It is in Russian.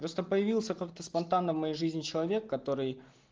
просто появился как-то спонтанно в моей жизни человек который